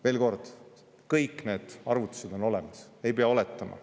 Veel kord, kõik need arvutused on olemas, ei pea oletama.